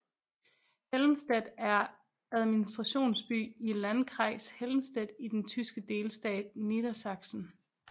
Helmstedt er administrationsby i Landkreis Helmstedt i den tyske delstat Niedersachsen